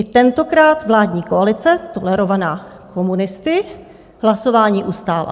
I tentokrát vládní koalice tolerovaná komunisty hlasování ustála.